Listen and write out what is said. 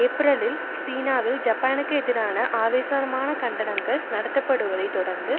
ஏப்ரலில் சீனாவில் ஜப்பானுக்கு எதிராக ஆவேசமான கண்டனங்கள் நடத்தப்படுவதை தொடர்ந்து